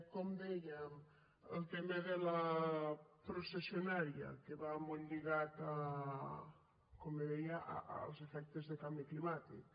com dèiem el tema de la processionària que va molt lligat com bé deia als efectes del canvi climàtic